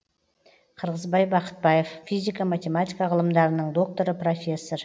қырғызбай бақытбаев физика математика ғылымдарының докторы профессор